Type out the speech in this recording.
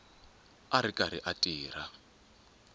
a ri karhi a tirha